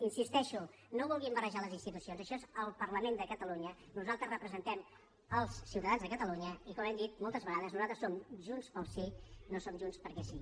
hi insisteixo no vulguin barrejar les institucions això és el parlament de catalunya nosaltres representem els ciutadans de catalunya i com hem dit moltes vegades nosaltres som junts pel sí no som junts perquè sí